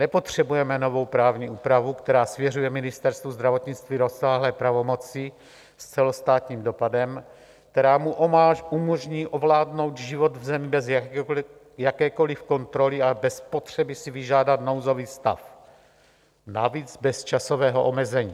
Nepotřebujeme novou právní úpravu, která svěřuje Ministerstvu zdravotnictví rozsáhlé pravomoci s celostátním dopadem, která mu umožní ovládnout život v zemi bez jakékoliv kontroly a bez potřeby si vyžádat nouzový stav, navíc bez časového omezení.